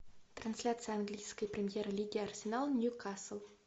трансляция английской премьер лиги арсенал ньюкасл